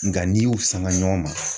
Nka n'i y'u sanga ɲɔgɔn ma.